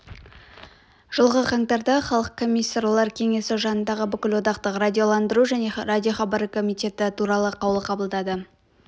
жылғы қаңтарда халық комиссарлар кеңесі жанындағы бүкілодақтық радиоландыру және радиохабары комитеті туралы қаулы қабылдады